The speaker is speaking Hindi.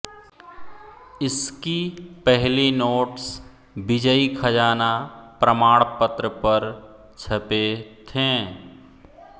इसकी पहली नोट्स विजय खजाना प्रमाण पत्र पर छपे थे